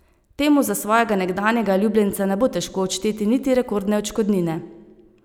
Temu za svojega nekdanjega ljubljenca ne bo težko odšteti niti rekordne odškodnine.